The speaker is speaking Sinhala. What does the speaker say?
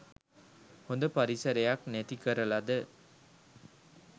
හොද පරිසරයක් නැති කරලද?